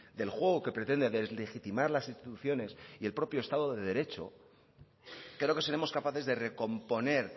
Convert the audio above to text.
del juego que pretende deslegitimar las instituciones y el propio estado de derecho creo que seremos capaces de recomponer